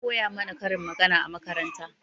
An koya mana karin magana a makaranta